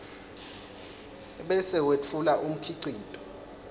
bese wetfula umkhicito